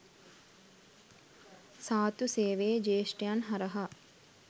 සාත්තු සේවයේ ජ්‍යේෂ්ඨයන් හරහා